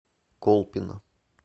колпино